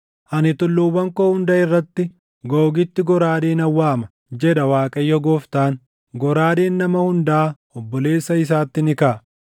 Ani tulluuwwan koo hunda irratti Googitti goraadee nan waama, jedha Waaqayyo Gooftaan. Goraadeen nama hundaa obboleessa isaatti ni kaʼa.